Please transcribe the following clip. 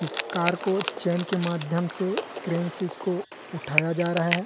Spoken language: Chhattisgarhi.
इस कार को चैन के माध्यम से क्रेन से इसको उठाया जा रहा है।